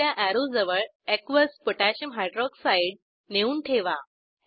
दुस या अॅरोजवळ एकियस पोटॅशियम हायड्रॉक्साइड aqकोह नेऊन ठेवा